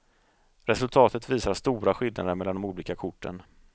Resultatet visar stora skillnader mellan de olika korten.